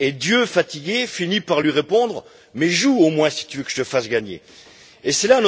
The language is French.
Et Dieu, fatigué, finit par lui répondre Mais joue, au moins, si tu veux que je te fasse gagner!. C'est